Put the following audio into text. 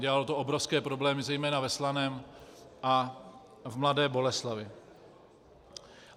Dělalo to obrovské problémy zejména ve Slaném a v Mladé Boleslavi.